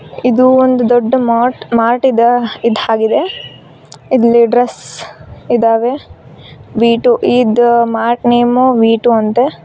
ಇದು ಒಂದು ದೊಡ್ಡ ಮರ್ಟ್ ಮಾರ್ಟ್ ಇದ ಇದ್ ಹಾಗಿದೆ ಇಲ್ಲಿ ಡ್ರಸ್ ಇದಾವೆ ವಿ ಟು ಇದ ಮಾರ್ಟ್ ನೇಮ್ ವಿ ಟೂ ಅಂತ.